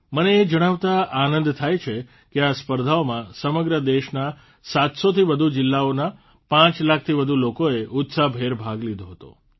મને એ જણાવતાં આનંદ થાય છે કે આ સ્પર્ધાઓમાં સમગ્ર દેશના ૭૦૦થી વધુ જીલ્લાઓના પાંચ લાખથી વધુ લોકોએ ઉત્સાહભેર ભાગ લીધો હતો